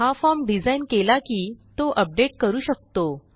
हा formडिझाईन केला की तो अपडेट करू शकतो